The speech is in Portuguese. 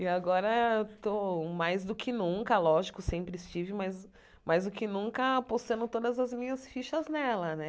E agora, estou mais do que nunca, lógico, sempre estive, mas mais do que nunca apostando todas as minhas fichas nela, né?